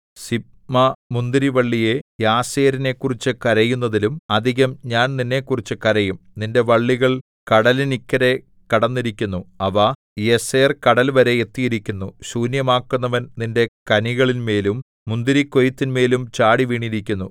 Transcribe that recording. സിബ്മാമുന്തിരിവള്ളിയേ യസേരിനെക്കുറിച്ചു കരയുന്നതിലും അധികം ഞാൻ നിന്നെക്കുറിച്ച് കരയും നിന്റെ വള്ളികൾ കടലിനിക്കരെ കടന്നിരിക്കുന്നു അവ യസേർകടൽവരെ എത്തിയിരിക്കുന്നു ശൂന്യമാക്കുന്നവൻ നിന്റെ കനികളിന്മേലും മുന്തിരിക്കൊയ്ത്തിന്മേലും ചാടി വീണിരിക്കുന്നു